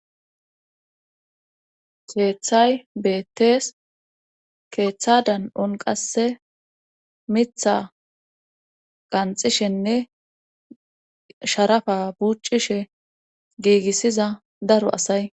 keeththay beettees keeththa dan7on qasse mitha qanxishenne sharafa buccishe giigissiza daro asay